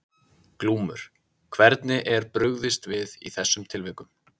Glúmur: Hvernig er brugðist við í þessum tilvikum?